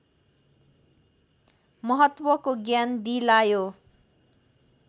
महत्त्वको ज्ञान दिलायो